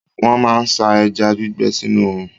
Wọ́n máa ń sá ẹja gbígbẹ sínú òòrùn.